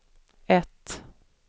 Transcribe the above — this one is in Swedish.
ett